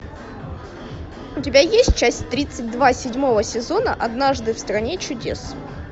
у тебя есть часть тридцать два седьмого сезона однажды в стране чудес